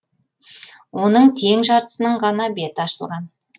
оның тең жартысының ғана беті ашылған